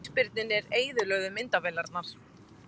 Ísbirnirnir eyðilögðu myndavélarnar